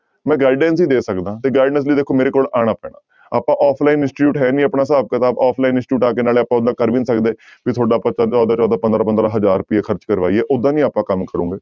ਮੈਂ guidance ਹੀ ਦੇ ਸਕਦਾ ਤੇ guidance ਲਈ ਦੇਖੋ ਮੇਰੇ ਕੋਲ ਆਉਣਾ ਪੈਣਾ ਆਪਾਂ offline institute ਹੈ ਨੀ ਆਪਣਾ ਹਿਸਾਬ ਕਿਤਾਬ offline institute ਆ ਕੇ ਨਾਲੇ ਆਪਾਂ ਓਨਾ ਕਰ ਵੀ ਨੀ ਸਕਦੇ ਵੀ ਤੁਹਾਡਾ ਚੌਦਾਂ ਚੌਦਾਂ ਪੰਦਰਾਂ ਪੰਦਰਾਂ ਹਜ਼ਾਰ ਰੁਪਇਆ ਖਰਚ ਕਰਵਾਈਏ ਓਦਾਂ ਨੀ ਆਪਾਂ ਕੰਮ ਕਰੋਗੇ।